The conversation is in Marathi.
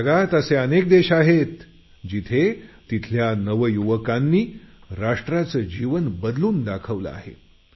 आणि जगात असे अनेक देश आहेत जिथे तिथल्या नव युवकांनी राष्ट्राचं जीवन बदलून दाखवलं आहे